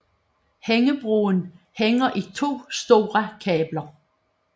Hængebroen hænger i to store kabler